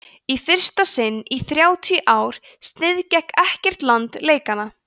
í fyrsta sinn í þrjátíu ár sniðgekk ekkert land leikana